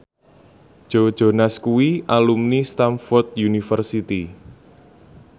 Joe Jonas kuwi alumni Stamford University